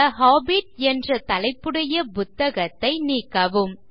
தே Hobbit என்ற தலைப்புடைய புத்தகத்தை நீக்கவும் 3